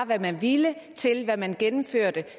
hvad man ville til hvad man gennemførte